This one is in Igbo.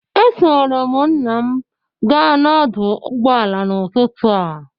Esoro m nna m gaa ọdụ ụgbọala n'ụtụtụ a.